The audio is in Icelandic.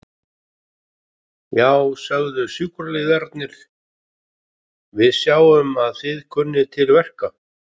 Já, sögðu sjúkraliðarnir, við sjáum að þið kunnið til verka.